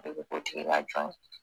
I bi k'o tigi ka jɔn ye.